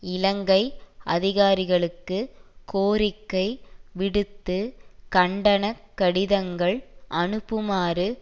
இலங்கை அதிகாரிகளுக்கு கோரிக்கை விடுத்து கண்டனக் கடிதங்கள் அனுப்புமாறு